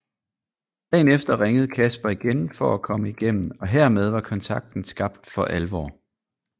Dagen efter ringede Kasper igen for at komme igennem og hermed var kontakten skabt for alvor